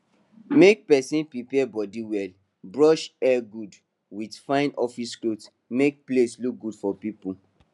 make persin prepare body well brush hair good with fine office cloth make place look good for people